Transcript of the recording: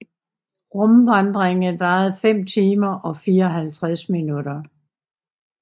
Rumvandringen varede 5 timer og 54 minutter